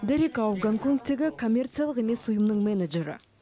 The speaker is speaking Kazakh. дерек ау гонконгтегі коммерциялық емес ұйымның менеджері